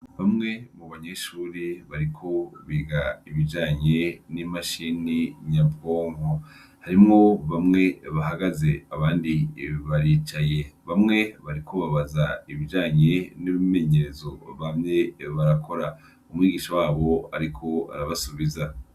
Bamwe mu banyeshure bariko biga ibijanye n'imashini nyabwonko ,harimwo bamwe bahagaze abandi baricaye ,bamwe bariko babaza ibijanye n'imyimenyerezo bamye barakora ,umwigisha wabo ariko arabasubiza.